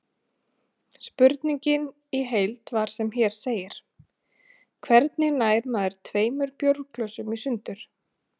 Spurningin í heild var sem hér segir: Hvernig nær maður tveimur bjórglösum í sundur?